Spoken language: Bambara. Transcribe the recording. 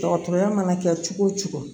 Dɔgɔtɔrɔya mana kɛ cogo o cogo